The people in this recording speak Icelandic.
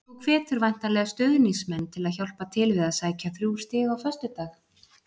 Þú hvetur væntanlega stuðningsmenn til að hjálpa til við að sækja þrjú stig á föstudag?